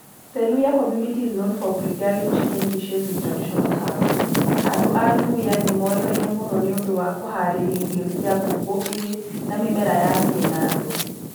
The Luhya community is known for preparing chicken dishes with traditional herbs. Andũ a Luhya nĩ moĩkaine mũno nĩ ũndũ wa kũhaarĩria irio cia ngũkũ irĩ na mĩmera ya kĩnandũ.